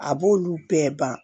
A b'olu bɛɛ ban